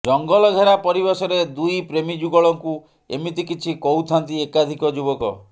ଜଙ୍ଗଲ ଘେରା ପରିବେଶରେ ଦୁଇ ପ୍ରେମୀଯୁଗଳଙ୍କୁ ଏମିତି କିଛି କହୁଥାନ୍ତି ଏକାଧିକ ଯୁବକ